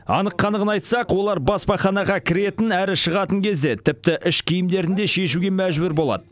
анық қанығын айтсақ олар баспаханаға кіретін әрі шығатын кезде тіпті іш киімдерін де шешуге мәжбүр болады